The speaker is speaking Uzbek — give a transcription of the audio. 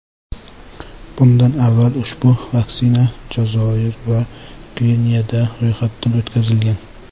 Bundan avval ushbu vaksina Jazoir va Gvineyada ro‘yxatdan o‘tkazilgan .